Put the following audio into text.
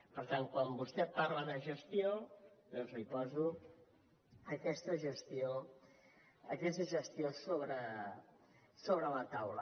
per tant quan vostè parla de gestió doncs li poso aquesta gestió sobre la taula